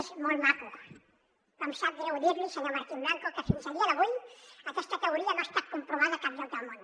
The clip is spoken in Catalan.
és molt maco però em sap greu dir li senyor martín blanco que fins a dia d’avui aquesta teoria no ha estat comprovada a cap lloc del món